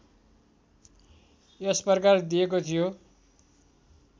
यस प्रकार दिएको थियो